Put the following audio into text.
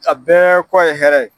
A bɛɛ kɔ ye hɛrɛ ye.